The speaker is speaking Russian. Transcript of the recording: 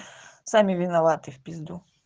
сами виноваты в пизду